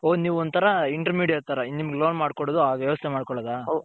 ನೀವು ಒಂದ್ ತರ inter ತರ ನಿಮ್ಮಗೆ loan ಮಾಡ್ಕಡದು ವ್ಯವೆಸ್ತೆ ಮಾಡ್ಕೋಳದಾ.